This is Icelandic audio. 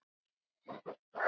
Það mátti enginn sjá það.